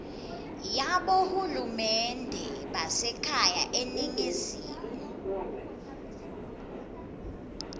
yabohulumende basekhaya eningizimu